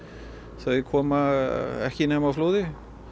þau koma ekki nema á flóði